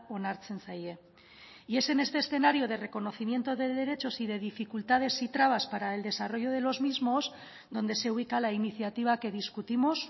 onartzen zaie y es en este escenario de reconocimiento de derechos y de dificultades y trabas para el desarrollo de los mismos donde se ubica la iniciativa que discutimos